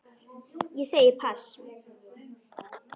Ég segi pass.